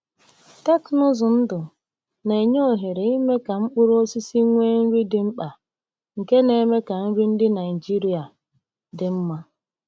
Teknụzụ ndụ na-enye ohere ime ka mkpụrụ osisi nwee nri dị mkpa, nke na-eme ka nri ndị Naijiria dị mma.